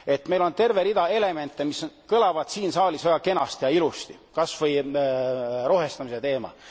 Meil on terve rida elemente, mis kõlavad siin saalis väga kenasti ja ilusti, kasvõi rohestamise teema.